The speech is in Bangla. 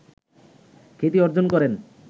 খ্যাতি অর্জন করেন